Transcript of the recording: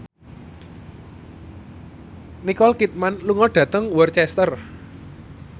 Nicole Kidman lunga dhateng Worcester